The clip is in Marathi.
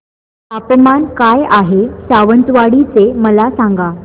तापमान काय आहे सावंतवाडी चे मला सांगा